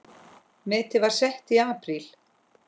Metið var sett í apríl.